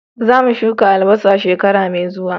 Za mu shuka albasa shekara mai zuwa